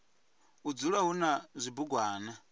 u dzula hu na zwibugwana